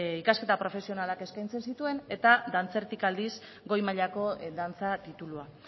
ikasketa profesionalak eskaintzen zituen eta dantzetik aldiz goi mailako dantza titulua